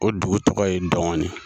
O dugu tɔgɔ ye Dɔngɔnin